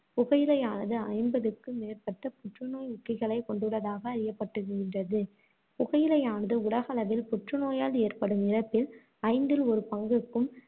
புகையிலையானது ஐம்பதுக்கு மேற்பட்ட புற்றுநோய் ஊக்கிகளைக் கொண்டுள்ளதாக அறியப்பட்டுகின்றது. புகையிலையானது உலகளவில் புற்றுநோயால் ஏற்படும் இறப்பில் ஐந்தில் ஒரு பங்குக்கும்,